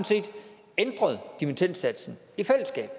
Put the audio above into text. ændret dimittendsatsen i fællesskab